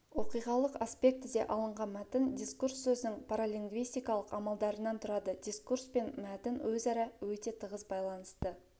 оқиғалық аспектіде алынған мәтін дискурс сөздің паралингвистикалық амалдарынан тұрады дискурс пен мәтін өзара өте тығыз байланысты